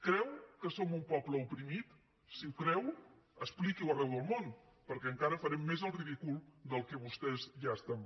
creu que som un poble oprimit si ho creu expliqui ho arreu del món perquè encara farem més el ridícul del que vostès ja fan